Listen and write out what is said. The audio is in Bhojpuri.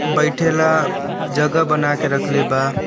बइठेला जगह बना के रखले बा।